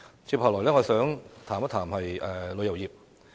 接下來，我想談談旅遊業。